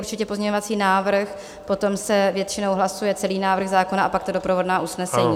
Určitě pozměňovací návrh, potom se většinou hlasuje celý návrh zákona a pak ta doprovodná usnesení.